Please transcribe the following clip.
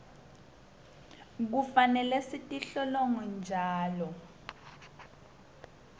kufanele sitilolonge njalo